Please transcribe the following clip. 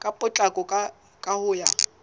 ka potlako ka ho ya